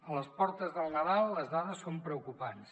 a les portes del nadal les dades són preocupants